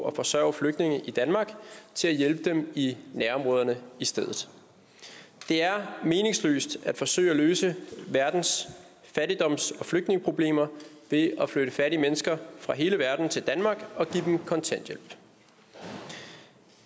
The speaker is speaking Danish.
at forsørge flygtninge i danmark til at hjælpe dem i nærområderne i stedet det er meningsløst at forsøge at løse verdens fattigdoms og flygtningeproblemer ved at flytte fattige mennesker fra hele verden til danmark og give dem kontanthjælp